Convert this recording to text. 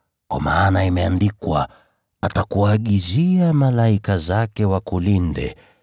kwa maana imeandikwa: “ ‘Atakuagizia malaika zake ili wakulinde;